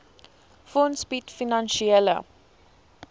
fonds bied finansiële